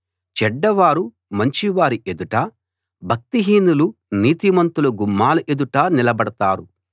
చెడ్డవారు మంచివారి ఎదుట భక్తిహీనులు నీతిమంతుల గుమ్మాల ఎదుట నిలబడతారు